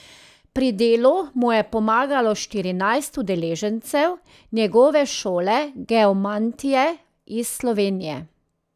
Pri delu mu je pomagalo štirinajst udeležencev njegove šole geomantije iz Slovenije.